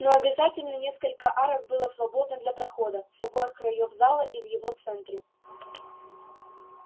но обязательно несколько арок было свободно для прохода с обоих краёв зала и в его центре